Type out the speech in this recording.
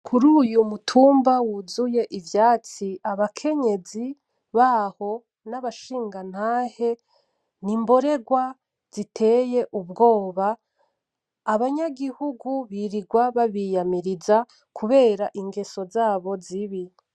Kuruyu mutumba wuzuye ivyatsi , abakenyezi baho nabashingantahe , nimborerwa ziteye ubwoba abanyagihugu birirwa babiyamiriza kubera ingeso zabo zibi